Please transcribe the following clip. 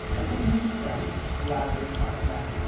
Isso é uma invenção, o lazer fora da vida.